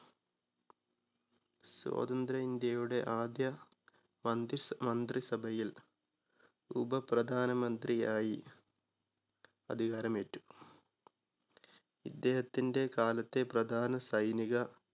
സ്വതന്ത്ര്യ ഇന്ത്യയുടെ ആദ്യ മന്ത്രിസ് മന്ത്രി സഭയിൽ ഉപപ്രധാനമന്ത്രിയായി അധികാരമേറ്റു. ഇദ്ദേഹത്തിന്റെ കാലത്തെ പ്രധാന സൈനിക